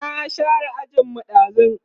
na share ajin mu ɗazun